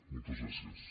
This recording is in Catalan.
moltes gràcies